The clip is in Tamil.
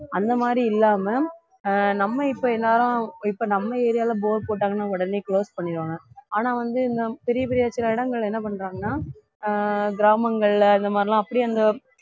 அந்த மாதிரி இல்லாம ஆஹ் நம்ம இப்ப எல்லாரும் இப்ப நம்ம area ல bore போட்டாங்கன்னா உடனே close பண்ணிடுவாங்க ஆனா வந்து இன்னும் பெரிய பெரிய சில இடங்கள்ல என்ன பண்றாங்கன்னா ஆஹ் கிராமங்கள்ல இந்த மாதிரிலாம் அப்படியே அந்த